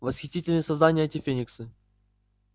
восхитительные создания эти фениксы